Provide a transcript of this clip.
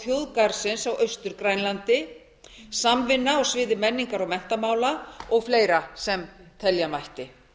þjóðgarðsins á austur grænlandi samvinna á sviði menningar og menntamála og fleira sem telja mætti